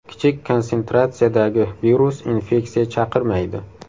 Kichik konsentratsiyadagi virus infeksiya chaqirmaydi.